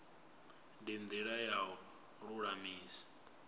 ndi ndila ya u lulamisa